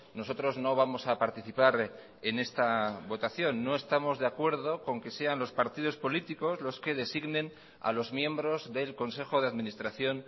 nosotros no vamos a participar en esta votación no estamos de acuerdo con que sean los partidos políticos los que designen a los miembros del consejo de administración